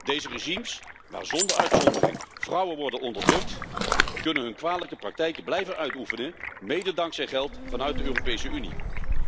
Deze regimes waar zonder uitzondering vrouwen worden onderdrukt, kunnen hun kwalijke praktijken blijven uitoefenen, mede dankzij geld vanuit de Europese Unie.